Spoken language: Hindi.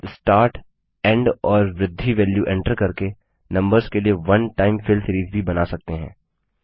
आप स्टार्ट एन्ड और बृद्धि वेल्यू एंटर करके नम्बर्स के लिए वन टाइम फिल सीरिज भी बना सकते हैं